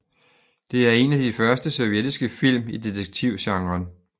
Det er en af de første sovjetiske film i detektivgenren